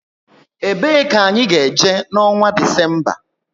E bee ka anyị ga-eje na onwa Disemba?